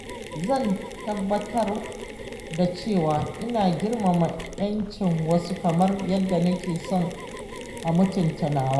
Zan tabbatar da cewa ina girmama 'yan cin wasu kamar yadda nake son a mutunta nawa.